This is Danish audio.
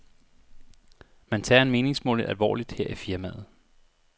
Man tager en meningsmåling alvorligt her i firmaet.